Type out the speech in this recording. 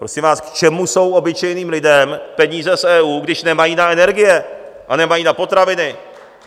Prosím vás, k čemu jsou obyčejným lidem peníze z EU, když nemají na energie a nemají na potraviny?